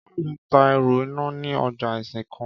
Káyò̩dé ń ta e̩rù iná ní ojà Ìsìnkàn